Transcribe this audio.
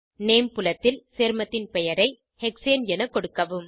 name புலத்தில் சேர்மத்தின் பெயரை ஹெக்ஸேன் என கொடுக்கவும்